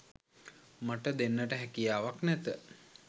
මට දෙන්නට හැකියාවක් නැත